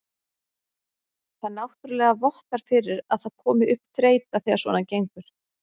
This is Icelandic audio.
Það náttúrulega vottar fyrir að það komi upp þreyta þegar svona gengur.